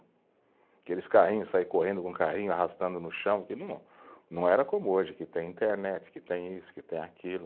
Aqueles carrinhos, sair correndo com o carrinho, arrastando no chão, que não, não era como hoje, que tem internet, que tem isso, que tem aquilo.